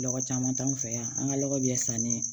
Lɔgɔ caman t'an fɛ yan an ka lɔgɔ bɛ sanni